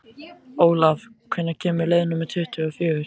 Olav, hvenær kemur leið númer tuttugu og fjögur?